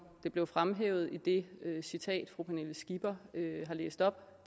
det blev fremhævet i det citat fru pernille skipper læste op